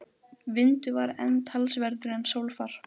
Vindur var enn talsverður en sólfar.